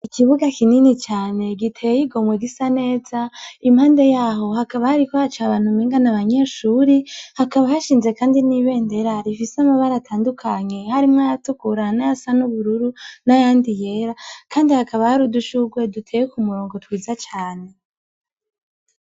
Ikibuga kinini cane giteye yigomwe gisa neza impande yaho hakaba hariko haco abantu mingana abanyeshuri hakaba hashinze, kandi n'ibendera rifise amabare atandukanye harimwo ayatukurana ya sa n'ubururu n'ayandi yera, kandi hakaba hari udushuguwe duteye ku murongo twiza cane.